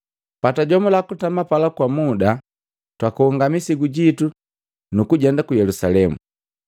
Patajomula kutama pala kwa muda, twakonga misigu jitu, nukujenda ku Yelusalemu.